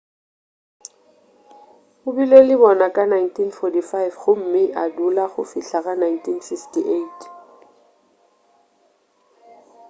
o bile le bona ka 1945 gomme a dula go fihla ka 1958